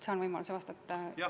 Saan võimaluse vastata?